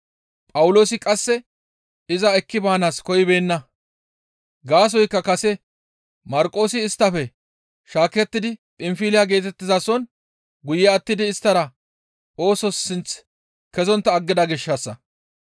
Phawuloosi qasse iza ekki baanaas koyibeenna; gaasoykka kase Marqoosi isttafe shaakettidi Phinfiliya geetettizason guye attidi isttara oosos sinth kezontta aggida gishshassa.